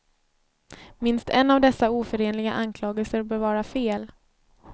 Minst en av dessa oförenliga anklagelser bör vara fel.